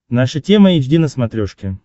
наша тема эйч ди на смотрешке